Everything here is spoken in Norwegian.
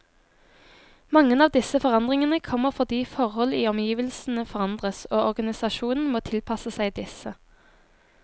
Mange av disse forandringene kommer fordi forhold i omgivelsene forandres, og organisasjonen må tilpasse seg disse.